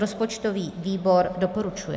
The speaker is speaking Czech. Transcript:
Rozpočtový výbor doporučuje.